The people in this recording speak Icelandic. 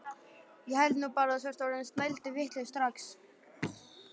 Ég held nú bara að þú sért orðinn snælduvitlaus strax!